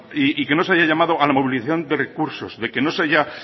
y que no se haya llamado a la movilización de recursos de que no se haya